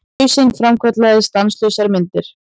Hausinn framkallaði stanslausar myndir.